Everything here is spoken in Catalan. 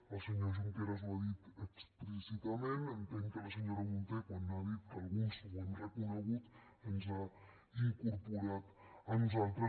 el senyor junqueras ho ha dit explícitament entenc que la senyora munté quan ha dit que alguns ho hem reconegut ens ha incorporat a nosaltres